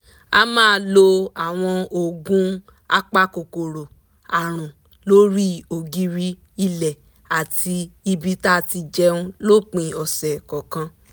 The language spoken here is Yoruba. a máa lo àwọn oògùn apakòkòrò àrùn lórí ògiri ilẹ̀ àti ibi tá ti jẹun lópin ọ̀sẹ̀ kọ̀ọ̀kan